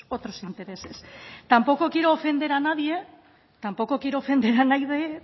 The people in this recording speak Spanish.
otros intereses tampoco quiero ofender a nadie tampoco quiero ofender a nadie